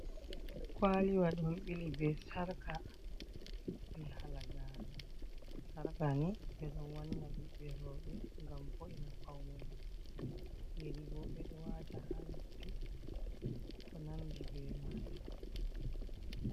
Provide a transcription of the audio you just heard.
Kwaaliwa don ɓili be sarkaa be halagare sarka ni ɓeɗo wanna ɓiɓɓe roɓe gam bo’ina faune mabbe yeri bo be do wata ha nofpi ko nandi be majum